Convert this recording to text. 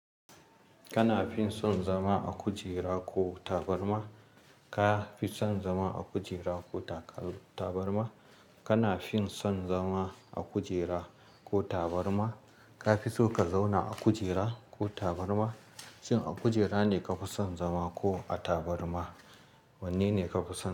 Kana fin son zama a kujera ko tabarma? Ka fi son zama a kujera ko tabarma? Kana fin son zama a kujera ko tabarma? Ka fi so ka zauna a kujera ko tabarma? Shin a kujera ne ka fi son zama ko a tabarma? Wanne ne ka fi so?